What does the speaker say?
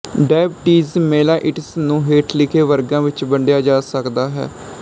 diabetes mellitus ਨੂੰ ਹੇਠ ਲਿਖੇ ਵਰਗਾਂ ਵਿੱਚ ਵੰਡਿਆ ਜਾ ਸਕਦਾ ਹੈ